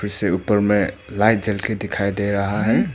इसे ऊपर मे लाइट जल के दिखाई दे रहा है।